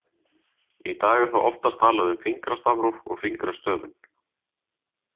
Í dag er þó oftast talað um fingrastafróf og fingrastöfun.